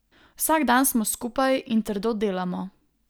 Vsak dan smo skupaj in trdo delamo.